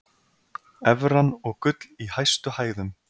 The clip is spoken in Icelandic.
Evran og gull í hæstu hæðum